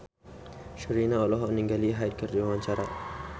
Sherina olohok ningali Hyde keur diwawancara